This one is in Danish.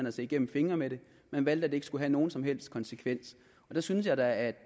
at se igennem fingre med det man valgte at det ikke skulle have nogen som helst konsekvens og der synes jeg da at